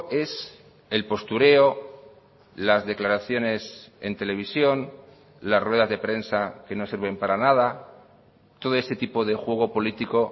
es el postureo las declaraciones en televisión las ruedas de prensa que no sirven para nada todo ese tipo de juego político